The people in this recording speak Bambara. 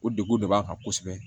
O degun de b'an kan kosɛbɛ